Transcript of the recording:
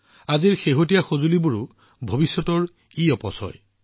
আজিৰ শেহতীয়া ডিভাইচবোৰো ভৱিষ্যতৰ ইৱেষ্ট